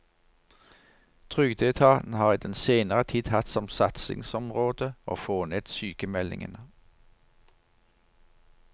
Trygdeetaten har i den senere tid hatt som satsingsområde å få ned sykemeldingene.